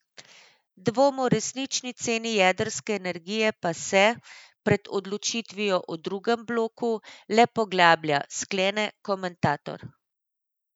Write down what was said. Dvom o resnični ceni jedrske energije pa se, pred odločitvijo o drugem bloku, le poglablja, sklene komentator.